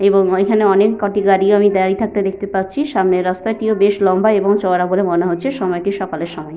এবং ঐখানে অনেককটি গাড়িও আমি দাঁড়িয়ে থাকতে দেখতে পাচ্ছি। সামনের রাস্তাটিও বেশ লম্বা এবং চওড়া বলে মনে হচ্ছে। সময়টি সকালের সময়।